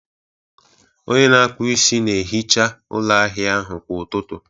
onye na-akpụ isi na-ehicha ụlọ ahịa ahụ kwa ụtụtụ